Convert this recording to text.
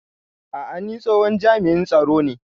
A'a, ni tsohon jami'in tsaro ne